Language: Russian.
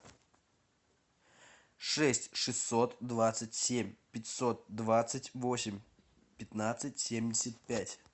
шесть шестьсот двадцать семь пятьсот двадцать восемь пятнадцать семьдесят пять